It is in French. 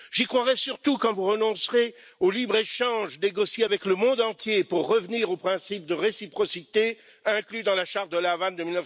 J'y croirai surtout quand vous renoncerez au libre échange négocié avec le monde entier pour revenir au principe de réciprocité inclus dans la charte de La Havane de